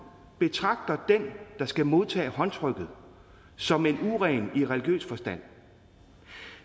betragter den der skal modtage håndtrykket som en uren i religiøs forstand